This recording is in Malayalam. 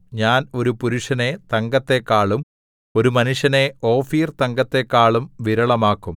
ഞാൻ ഒരു പുരുഷനെ തങ്കത്തെക്കാളും ഒരു മനുഷ്യനെ ഓഫീർതങ്കത്തെക്കാളും വിരളമാക്കും